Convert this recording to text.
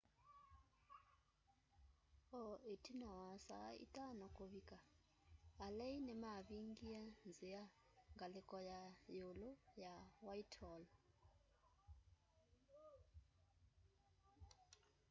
o ĩtina wa saa 11.00 kũvĩka alei nĩmavingie nzĩa ngalĩko ya yĩũlũ ya whitehall